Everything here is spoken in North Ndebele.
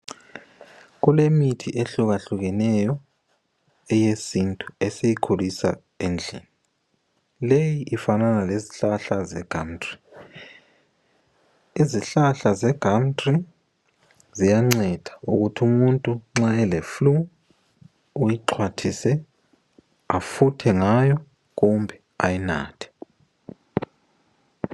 Kulemithi ehluka hlukeneyo eyesintu esiyikhulisa endlini, leyi ifanana lezihlahla zegamuthri, izihlahla eze gamuthri ziyanceda ukuthi umuntu nxa ele flu, uyixhwathise efuthe ngayo kumbe ayinathe.